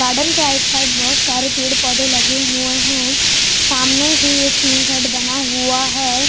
Garden के right side बहुत सारे पेड़ पौधे लगे हुए हैं सामने ही एक टीन सेट बना हुआ है।